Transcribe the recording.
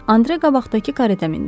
Andre qabaqdakı kareta mindi.